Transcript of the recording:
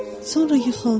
Sonra yıxıldı.